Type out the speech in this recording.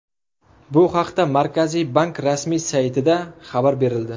Bu haqda Markaziy bank rasmiy saytida xabar berildi .